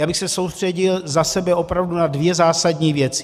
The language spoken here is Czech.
Já bych se soustředil za sebe opravdu na dvě zásadní věci.